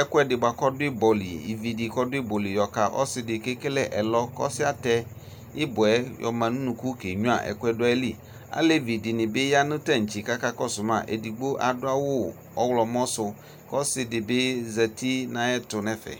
ɛkʋɛdi bʋakʋ ɔdʋ ibɔli yɔka ɔsidi kʋ ekele ɛlɔ kʋ ɔsi yɛ atɛ ibɔ yɛ yɔma nʋ ʋnʋkʋ ke nyuia ɛkʋe dʋ ayili alevi dini bi yanʋ tantse kʋ akakɔsʋ ma rdigno adʋ awʋ ɔwlɔmɔ sʋ kʋ ɔsidi bi zati nʋ ayʋ ɛtʋ nʋ ɛfɛ